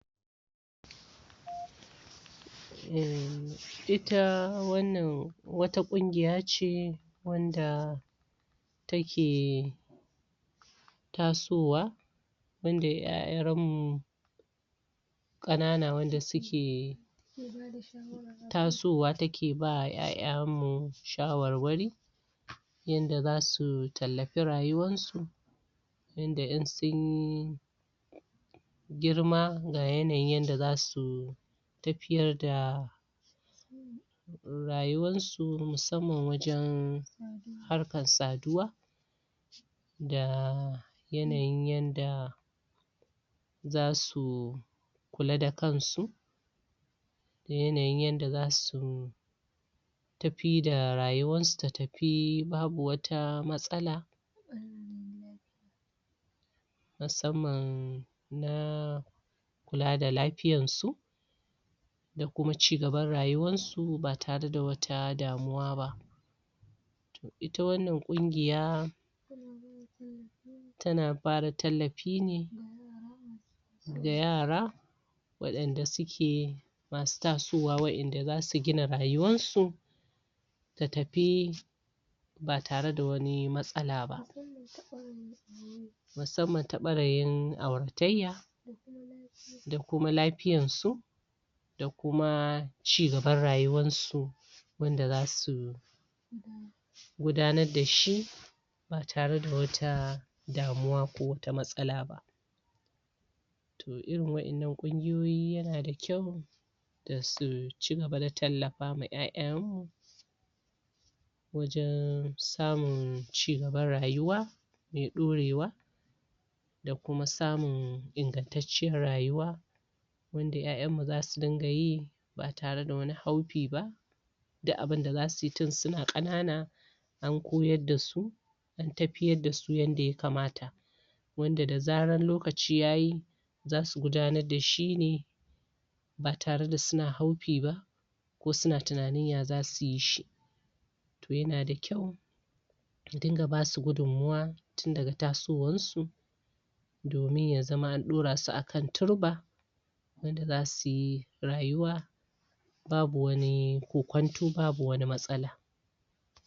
um ita wan nan wata kungiya ce wanda take um tasowa wanda yaran um mu kakana wanda suke tasowa take ba yayan mu shawar wari yanda zasu tallafi rayuwan su yanda in sun girma ga yanayin yadda zasu tafiyar da rayuwan su musamman wajen harkan saduwa da yanayin yadda za su kula da kansu da yanayin yadda zasu tafi da rayuwan su, ta tafi, babu wata matsala musamman na kula da lafiyan su da kuma ci gaban rayuwan su, ba tare, da wata damuwa to ita wanan kungiya tana bada tallafi ne ga yara wadanda suke masu tasowa wayanda zasu gina rayuwan su ta tafi ba tare da wani matsalaba musamman ta bangaren aurataiya da kuma lafiyansu da kuma ci gaban rayuwan su wanda dasu gudanan dashi ba tare da wata damuwa ko wata matsalaba to irin wayannan kungiyoyi yana da kyau da su ci gaba da tallafawa yayayen mu wajen samun ci gaban rayuwa mai dorewa da kuma samun ingancecciyar rayuwa wanda yayanmu zasu dingayi ba tare da wani haufiba duk abin da zasuyi tun suna kanana an koyar dasu antafiyar dasu yadda ya kamata wanda da zarar lokaci yayi zasu gudanan dashi ne ba tare da suna haufiba ko suna tunanin ya zasuyishi to yana da kyau adin ga basu gudunmawa tun daga tasowansu domin ya zama an dorasu akan turba wanda zasuyi rayuwa babu wani kokonto babu wani mastala